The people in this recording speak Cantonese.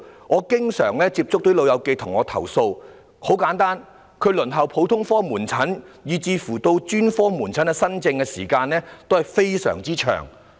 我經常接觸的"老友記"向我投訴，他們輪候普通科門診以至專科門診新症的時間均非常長。